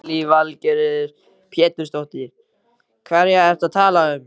Lillý Valgerður Pétursdóttir: Hverja ertu að tala um?